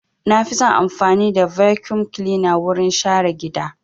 Na fi son amfani da vacuum cleaner wurin share gida.